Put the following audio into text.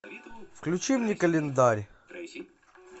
включи мне календарь